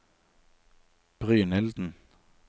Brynilden